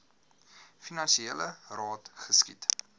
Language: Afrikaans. finansiele jaar geskied